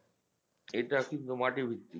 এটা কিন্তু মাটিভিত্তিক